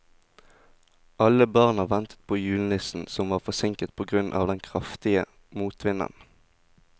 Alle barna ventet på julenissen, som var forsinket på grunn av den kraftige motvinden.